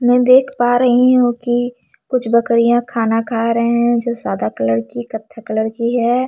मै देख पा रही हु की कुछ बकरियाँ खाना खा रहे है जो साधा कलर की कत्था कलर की है।